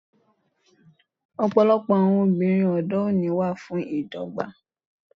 Ọ̀pọ̀lọpọ̀ àwọn obìnrin òde òní wà fún ìdọ́gba.